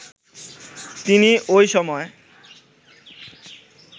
তিনি ওই সময়